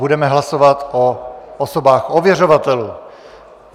Budeme hlasovat o osobách ověřovatelů.